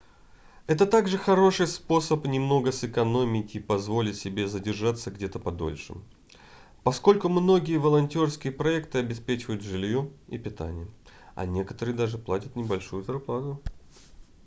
это также хороший способ немного сэкономить и позволить себе задержаться где-то подольше поскольку многие волонтерские проекты обеспечивают жильем и питанием а некоторые даже платят небольшую зарплату